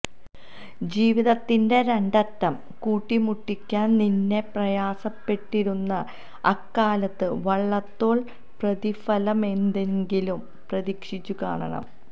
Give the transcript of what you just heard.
ജീവിതത്തിന്റെ രണ്ടറ്റം കൂട്ടിമുട്ടിക്കാൻ നന്നേ പ്രയാസപ്പെട്ടിരുന്ന അക്കാലത്ത് വള്ളത്തോൾ പ്രതിഫലമെന്തെങ്കിലും പ്രതീക്ഷിച്ചുകാണണം